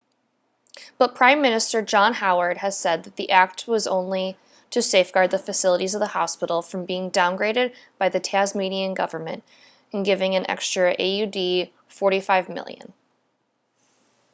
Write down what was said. but prime minister john howard has said the act was only to safeguard the facilities of the hospital from being downgraded by the tasmanian government in giving an extra aud$45 million